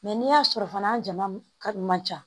Mɛ n'i y'a sɔrɔ fana jama ka man ca